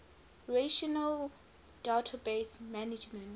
relational database management